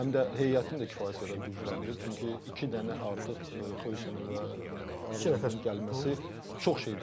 Həm də heyətini də kifayət qədər gücləndirib, çünki iki dənə artıq Xoysenin və Ardanın gəlməsi çox şey dəyişir.